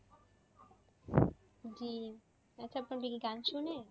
জি আচ্ছা আপু আপনি কি গান শোনেন?